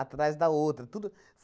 atrás da outra. Tudo,